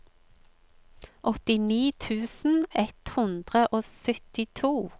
åttini tusen ett hundre og syttito